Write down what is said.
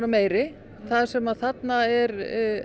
meiri þar sem að þarna er